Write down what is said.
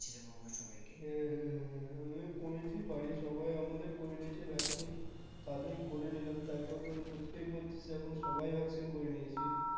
মা বাবা সবাইকে হ্যাঁ হ্যাঁ হ্যাঁ আমিও করেছি বাড়ির সবাই আমাদের করে নিয়েছে vaccine তাড়াতাড়ি করে নিলাম তার কারণ বুঝতেই পারছিস এখন সবাই vaccine করে নিয়েছে